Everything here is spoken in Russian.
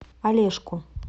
олежку